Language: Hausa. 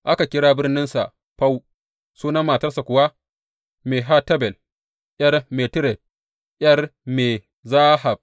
Aka kira birninsa Fau, sunan matarsa kuwa Mehetabel ’yar Matired, ’yar Me Zahab.